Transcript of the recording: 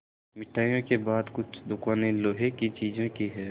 मिठाइयों के बाद कुछ दुकानें लोहे की चीज़ों की हैं